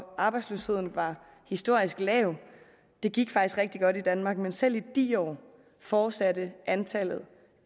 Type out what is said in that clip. arbejdsløsheden var historisk lav det gik faktisk rigtig godt i danmark men selv i de år fortsatte antallet